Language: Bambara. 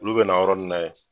Olu bɛna yɔrɔni na yen